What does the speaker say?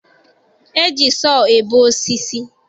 E ji sọọ ebe osisi